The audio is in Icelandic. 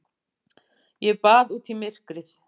Ég bað út í myrkrið.